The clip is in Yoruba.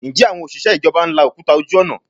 Ǹjẹ́ àwọn òṣìṣẹ́ ìjọba ń la òkúta ojú ọ̀nà?